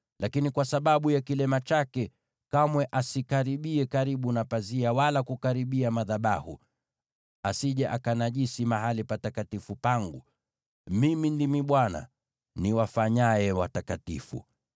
Lakini kwa sababu ya kilema chake, kamwe asikaribie karibu na pazia wala kukaribia madhabahu, asije akanajisi mahali patakatifu pangu. Mimi ndimi Bwana , niwafanyaye watakatifu.’ ”